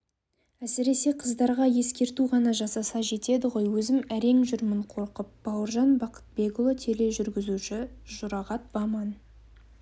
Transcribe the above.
әсіресе қыздарға ескерту ғана жасаса жетеді ғой өзім әрең жүремін қорқып бауыржан бақытбекұлы тележүргізуші жұрағат баман